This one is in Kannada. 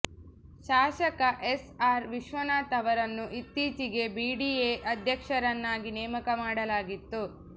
ಶಾಸಕ ಎಸ್ ಆರ್ ವಿಶ್ವನಾಥ್ ಅವರನ್ನು ಇತ್ತೀಚೆಗೆ ಬಿಡಿಎ ಅಧ್ಯಕ್ಷರನ್ನಾಗಿ ನೇಮಕ ಮಾಡಲಾಗಿತ್ತು